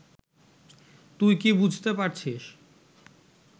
তুই কি বুঝতে পারছিস